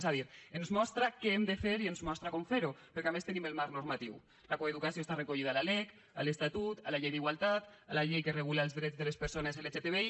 és a dir ens mostra què hem de fer i ens mostra com fer ho perquè a més en tenim el marc normatiu la coeducació està recollida a la lec a l’estatut a la llei d’igualtat a la llei que regula els drets de les persones lgtbi